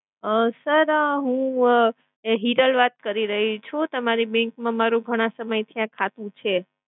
અમ sir હુ અમ હિરલ વાત કરી રહી છું. તમારી Bank માં મારુ ઘણા સમયથી આ ખાતું છે.